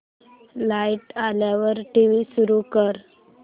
light आल्यावर TV सुरू कर